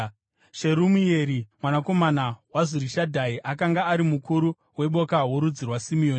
Sherumieri mwanakomana waZurishadhai akanga ari mukuru weboka rorudzi rwaSimeoni,